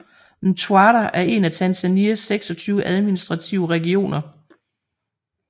Mtwara er en af Tanzanias 26 administrative regioner